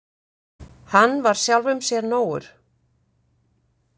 Hann var sjálfum sér nógur.